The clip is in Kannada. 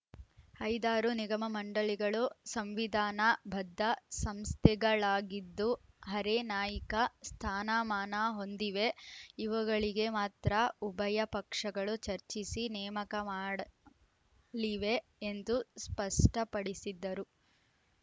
ಐದಾರು ನಿಗಮಮಂಡಳಿಗಳು ಸಂವಿಧಾನ ಬದ್ಧ ಸಂಸ್ಥೆಗಳಾಗಿದ್ದು ಹರೆ ನಾಯಿಕ ಸ್ಥಾನಮಾನ ಹೊಂದಿವೆ ಇವುಗಳಿಗೆ ಮಾತ್ರ ಉಭಯ ಪಕ್ಷಗಳು ಚರ್ಚಿಸಿ ನೇಮಕ ಮಾಡಲಿವೆ ಎಂದು ಸ್ಪಷ್ಟಪಡಿಸಿದರು